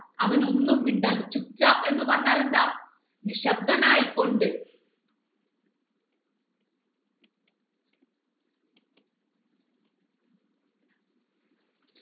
അവൻ ഒന്നും മിണ്ടാതെ എന്ന് പറഞ്ഞാൽ എന്താ നിശബ്ദനായി കൊണ്ട്